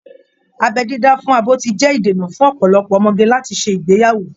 Abẹ́ dídá fún abo ti jẹ́ ìdènà fún ọ̀pọ̀lọpọ̀ ọmọge láti ṣe ìgbéyàwó